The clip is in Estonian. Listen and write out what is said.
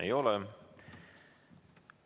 Ei ole.